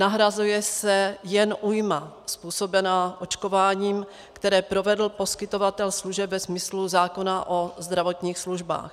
Nahrazuje se jen újma způsobená očkováním, které provedl poskytovatel služeb ve smyslu zákona o zdravotních službách.